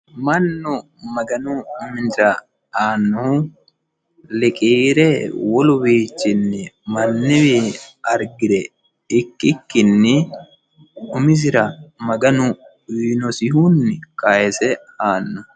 Mannu maganu minira aanno liqiire wole wiichinni mannuyiwi arigire ikkikinni umisira maganu uuyinosihunni kayise aanno